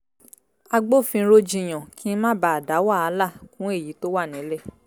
agbófinró jiyàn kí n má bàa dá wàhálà kún èyí tó wà nílẹ̀